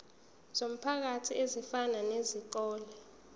zomphakathi ezifana nezikole